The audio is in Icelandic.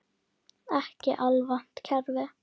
Ekki alvont kerfi.